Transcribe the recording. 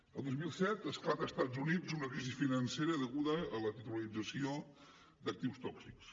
el dos mil set esclata a estats units una crisi financera deguda a la titularització d’actius tòxics